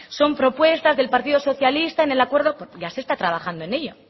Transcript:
son propuestas del partido socialista en el acuerdo ya se está trabajando en ello